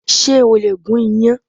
Ṣé o lè gun iyan?